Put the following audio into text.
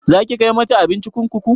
Zaki kai mata abinci kurkuku?